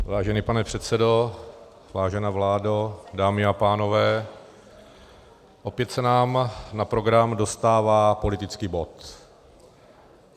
Vážený pane předsedo, vážená vládo, dámy a pánové, opět se nám na program dostává politický bod.